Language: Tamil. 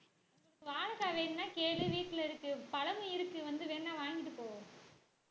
வாழைக்காய் வேணும்னா கேளு வீட்டுல இருக்கு பழம் இருக்கு வந்து வேணா வாங்கிட்டு போ